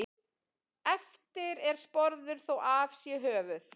Eftir er sporður þó af sé höfuð.